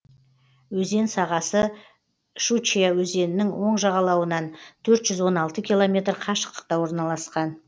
өзен сағасы щучья өзенінің оң жағалауынан төрт жүз он алты километр қашықтықта орналасқан